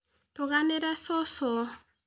Tũganĩre cũcũ